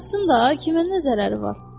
Yatsın da, kimə nə zərəri var?